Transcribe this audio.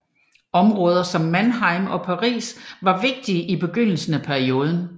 Områder som Mannheim og Paris var vigtige i begyndelsen af perioden